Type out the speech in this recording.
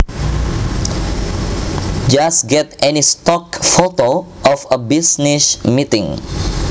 Just get any stock photo of a business meeting